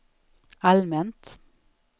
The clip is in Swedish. allmänt